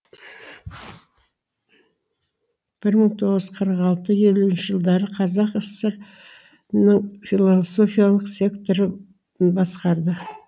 бір мың тоғыз жүз қырық алты елуінші жылдары қазақ кср ның философиялық секторын басқарды